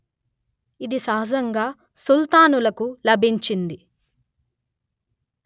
ఇది సహజంగా సుల్తానులకు లాభించింది